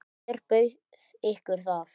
Hver bauð ykkur það?